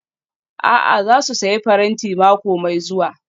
A'a, za su sayi faranti mako mai zuwa